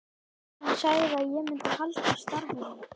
Hann sagði að ég myndi halda starfinu.